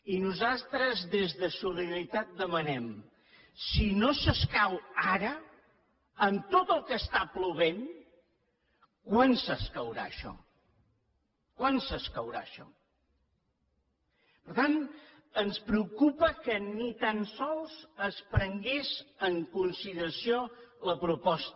i nosaltres des de solida ritat demanem si no s’escau ara amb tot el que està plovent quan s’escaurà això quan s’escaurà això per tant ens preocupa que ni tan sols es prengués en consideració la proposta